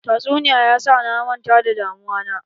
Tatsuniya ya sa na manta da damuwa na.